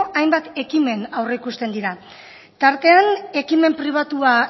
hainbat ekimen aurreikusten dira tartean ekimen pribatua